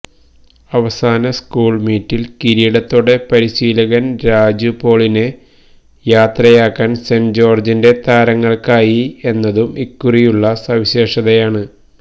അവസാന സ്കൂള് മീറ്റില് കിരീടത്തോടെ പരിശീലകന് രാജു പോളിനെ യാത്രയാക്കാന് സെന്റ് ജോര്ജിന്റെ താരങ്ങള്ക്കായി എന്നതും ഇക്കുറിയുള്ള സവിശേഷതയാണ്